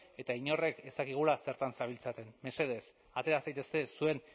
eta inork ez dakigula zertan zabiltzaten mesedez atera zaitezte zuen